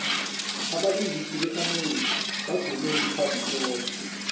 abalingisi be amerika badume iphasi loke